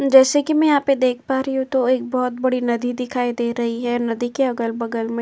जैसे कि मैं यहाँ पे देख पा रही हूं तो एक बोहोत बड़ी नदी दिखाई दे रही है। नदी के अगल-बगल में --